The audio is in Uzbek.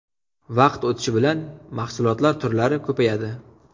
Vaqt o‘tishi bilan mahsulotlar turlari ko‘payadi.